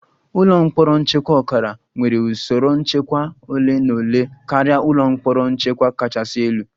Ụlọ mkpọrọ nchekwa ọkara nwere usoro nchekwa ole na ole karịa ụlọ mkpọrọ nchekwa kachasị elu